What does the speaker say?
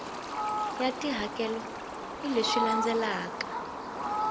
ya tihakelo hi leswi landzelaka